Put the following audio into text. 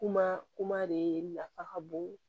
Kuma kuma de nafa ka bon